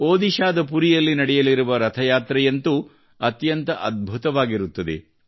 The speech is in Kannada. ಒಡಿಶಾದ ಪುರಿಯಲ್ಲಿ ನಡೆಯಲಿರುವ ರಥಯಾತ್ರೆಯಂತೂ ಅತ್ಯಂತ ಅದ್ಭುತವಾಗಿರುತ್ತದೆ